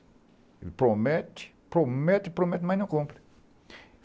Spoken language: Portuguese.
Ele promete, promete, promete, mas não cumpre.